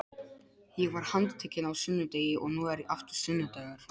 Ég var handtekinn á sunnudegi og nú er aftur sunnudagur.